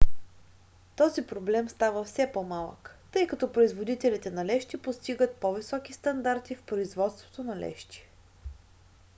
този проблем става все по-малък тъй като производителите на лещи постигат по-високи стандарти в производството на лещи